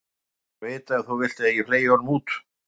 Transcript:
Þú lætur mig bara vita ef þú vilt að ég fleygi honum út.